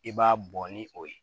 I b'a bɔ ni o ye